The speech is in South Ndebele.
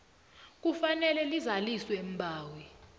kufanele lizaliswe mbawi